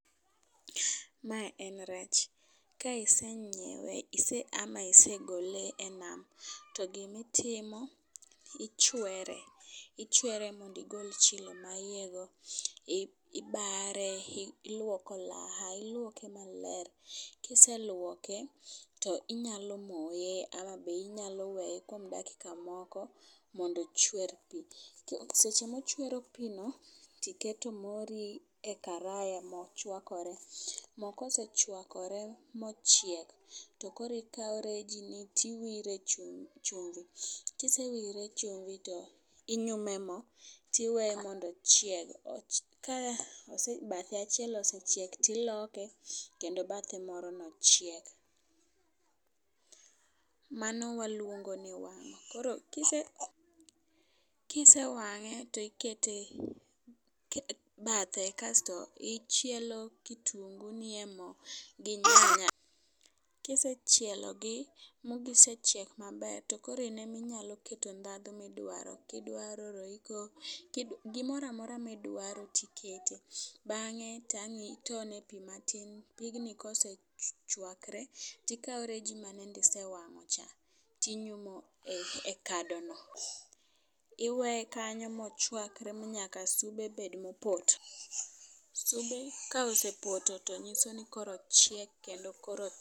Mae en rech. Ka isenyiewe ise ama isegole e nam to gimitimo ichwere ichwere mondi gol chilo ma iye go, ibare, i ilwoke ilwoke maler. Kiselwoke to inyalo moye ama be inyalo weye kuom dakika moko mondo ochwer pii. Seche mochwero pii no tiketo mori e karaya mochwakore. Moo kosechwakore mochiek to koro ikawo reji ni tiwire e chumb e chumbi . Kisewire chumbi tinyume moo tiweye mondo ochieg. Ka bathe achiel osechiek tiloke kendo bathe moro no chiek. Mano waluongo ni wang'o . Koro kise kise wang'e to ikete bathe kasto ichielo kitungu nie moo gi nyanya. Kisechielo gi ma gisechiek maber to koro ineminyalo keto ndhadhu midwaro, kidwaro royco, kidwa gimoramora midwaro tikete bang'e to ang'i tone piii matin. Pigni kosechwakore tikawo reji mayande isewang'o cha , tinyume kado no iweye kanyo mochwakre masube bed mopoto. Ka sube osepoto to nyiso ni koro ochiek kendo koro